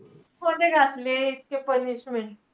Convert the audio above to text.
इतके punishment.